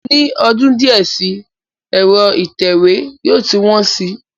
Ní ọdún díẹ̀ sí, ẹ̀rọ ìtẹ̀wé yóò ti wọn si